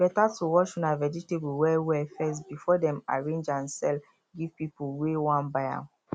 e better to wash una vegetable well well first before dem arrange am sell give people wey wan buy am